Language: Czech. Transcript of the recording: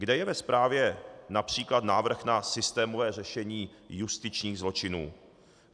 Kde je ve zprávě například návrh na systémové řešení justičních zločinů?